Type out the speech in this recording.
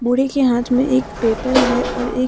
बुड़े के हाथ में एक पेपर है और एक--